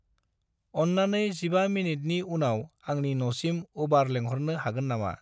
अन्नानै 15 मिनिटनि उनाव आंनि नसिम उबार लिंहरनो हागोन नामा?